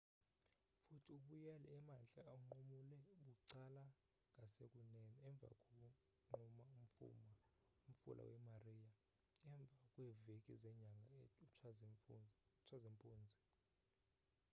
futhi ubuyele emantla unqumule bucala ngasekunene emva konqumula umfula we-maria emva kweemvula zenyanga utshazimpuzi